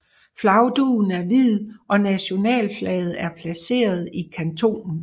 Flagdugen er hvid og nationalflaget er placeret i kantonen